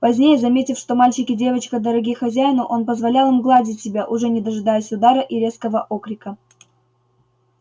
позднее заметив что мальчик и девочка дороги хозяину он позволял им гладить себя уже не дожидаясь удара и резкого окрика